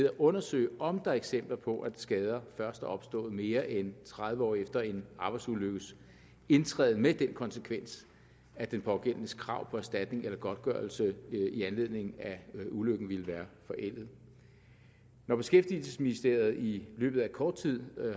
at undersøge om der er eksempler på at skader først er opstået mere end tredive år efter en arbejdsulykkes indtræden med den konsekvens at den pågældendes krav på erstatning eller godtgørelse i anledning af ulykken ville være forældet når beskæftigelsesministeriet i løbet af kort tid